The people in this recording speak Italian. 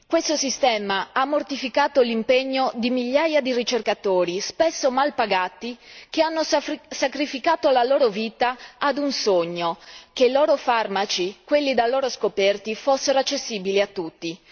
Questo sistema ha mortificato l'impegno di migliaia di ricercatori, spesso mal pagati, che hanno sacrificato la loro vita ad un sogno che i loro farmaci, quelli da loro scoperti, fossero accessibili a tutti.